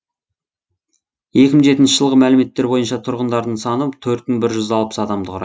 екі мың жетінші жылғы мәліметтер бойынша тұрғындарының саны төрт мың бір жүз алпыс адамды құра